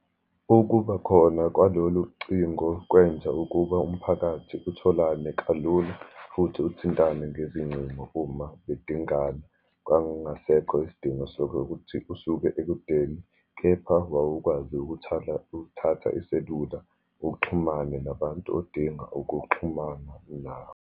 Ukuba khona kwalolucingo kwenza ukuba umphakathi utholane kalula, futhi ukuthintane ngezincingo uma bedingana. Kwakungasekho isidingo sokuthi usuke ekudeni, kepha wawukwazi ukuthatha iselula, uxhumane nabantu odinga ukuxhumana nabo.